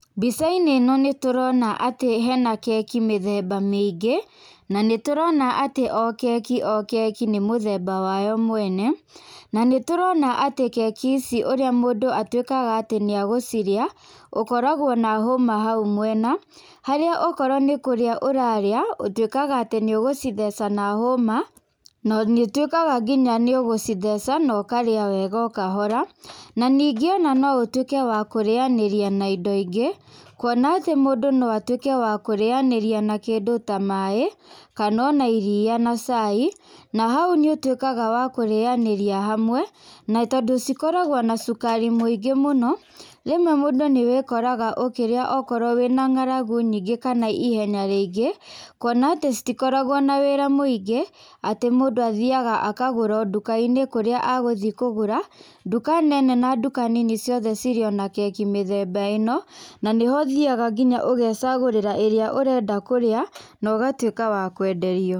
Mbica-inĩ ĩno nĩtũrona atĩ hena keki mĩthemba mĩingĩ, na nĩ tũrona atĩ o keki o keki nĩ mũthemba wayo mwene. Na nĩtũrona atĩ keki ici ũrĩa mũndũ atuĩkaga atĩ nĩagũcirĩa, ũkoragwo na hũma hau mwena harĩa okorwo nĩ kũria ũrarĩa ũtuĩkaga atĩ nĩ ugũcitheca na hũma, na nĩũtuĩkaga nginya nĩ ũgũcitheca na ũkarĩa wega o kahora. Na ningĩ no ũtuĩke wa kũrĩanĩria na indo ingĩ, kuona atĩ mũndũ no atuĩke wa kũrĩanĩria na kĩndũ ta maĩ, kana ona iria na cai. Na hau nĩ ũtuĩkaga wa kurĩanĩria hamwe. Na tondũ cikoragwo na cukari mũno, rĩmwe mũndũ nĩwĩkoraga okĩrĩa okorwo wĩna ng'aragu nyingĩ kana ihenya riingĩ kuona atĩ citikoragwo na wĩra mũingĩ. Atĩ mũndũ athiaga akagũra o nduka-inĩ kũrĩa a guthiĩ kũgũra. Nduka nene na nduka nini ciothe cirĩ o na keki mĩthemba ĩno. Na nĩ ho ũthiaga nginya ũgecagũrĩra ĩrĩa ũrenda kũrĩa na ũgatuĩka wa kwenderio.